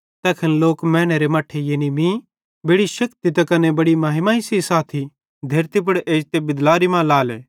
तैखन लोक मैनेरे मट्ठे यानी मीं बड़ी शेक्ति त कने बड़ी महिमा सेइं साथी धेरती पुड़ जो बिदलारी मां एजते हेरेले